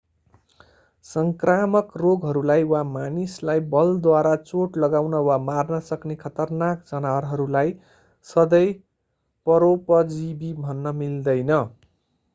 सङ्क्रामक रोगहरूलाई वा मानिसलाई बलद्वारा चोट लगाउन वा मार्न सक्ने खतरनाक जनावरहरूलाई सधैँ परोपजीवि भन्न मिलदैन